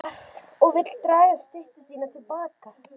Hún skrifar og vill draga styttu sína til baka.